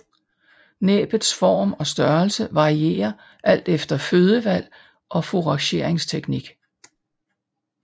Næbbets form og størrelse varierer alt efter fødevalg og fourageringsteknik